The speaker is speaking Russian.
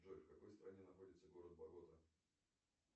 джой в какой стране находится город богота